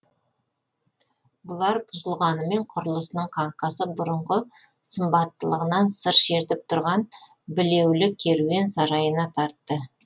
бұлар бұзылғанымен құрылысының қаңқасы бұрынғы сымбаттылығынан сыр шертіп тұрған білеулі керуен сарайына тартты